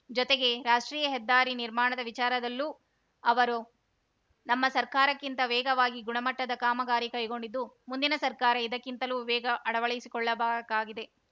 ಜೊತೆಗೆ ರಾಷ್ಟ್ರೀಯ ಹೆದ್ದಾರಿ ನಿರ್ಮಾಣದ ವಿಚಾರದಲ್ಲೂ ಅವರು ನಮ್ಮ ಸರ್ಕಾರಕ್ಕಿಂತ ವೇಗವಾಗಿ ಗುಣಮಟ್ಟದ ಕಾಮಗಾರಿ ಕೈಗೊಂಡಿದ್ದು ಮುಂದಿನ ಸರ್ಕಾರ ಇದಕ್ಕಿಂತಲೂ ವೇಗ ಅಳವಡಿಸಿಕೊಳ್ಳಬೇಕಾಗಿದೆ